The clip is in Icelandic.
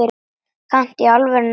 Kanntu í alvöru að fljúga?